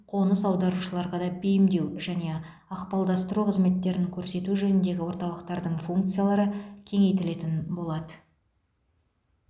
қоныс аударушыларға да бейімдеу және ықпалдастыру қызметтерін көрсету жөніндегі орталықтардың функциялары кеңейтілетін болады